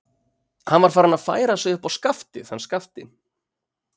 Hann var farinn að færa sig upp á skaftið hann Skapti.